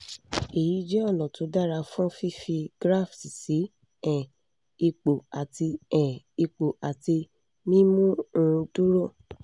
èyí jẹ́ ọ̀nà tó dára fún fífi graft sí um ipò àti um ipò àti mímú un dúró